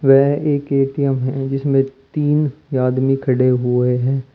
वह एक ए_टी_एम हैं जिसमें तीन यादमी खड़े हुए हैं।